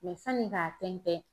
sanni k'a tɛntɛn